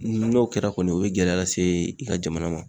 N'o kɛra kɔni o be gɛlɛya lase i ka jamana ma